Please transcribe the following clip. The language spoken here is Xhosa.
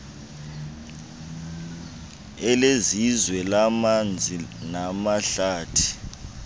elesizwe lamanzi namahlathi